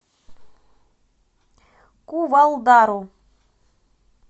кувалдару